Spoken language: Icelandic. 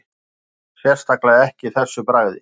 Sérstaklega ekki þessu bragði